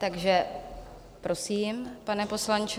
Takže prosím, pane poslanče.